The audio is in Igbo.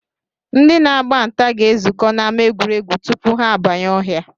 Ndị na-agba nta ga-ezukọ n'ama egwuregwu tupu ha abanye ọhịa